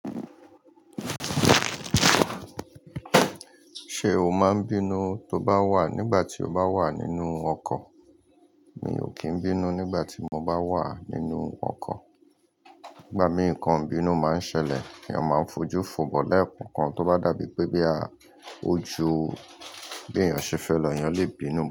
Ṣé o máa ń bínú tó bá wà nígbà tí o bá wà nínú ọkọ̀? Mi ò kí ń bínú nígbà tí mo bá wà nínú ọkọ̀. Nígbà mìíràn nkan ibínú máa ń ṣẹlẹ̀. Èèyàn máa ń fojú fun but lẹ́ẹ̀kọọkan, tó bá dàbí pé bí a ó ju bí èèyàn ṣe fẹ́ lọ, èèyàn lè bínú.